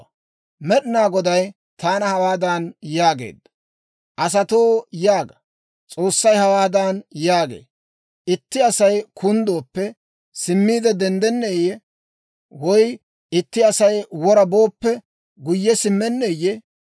Med'inaa Goday taana hawaadan yaageedda; «Asatoo yaaga; S'oossay hawaadan yaagee; Itti Asay kunddooppe, simmiide denddenneeyye? Woy itti Asay wora booppe, guyye simmenneeyye?